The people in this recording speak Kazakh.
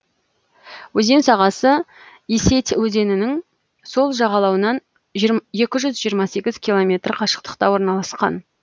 өзен сағасы исеть өзенінің сол жағалауынан екі жүзжиырма сегіз километр қашықтықта орналасқан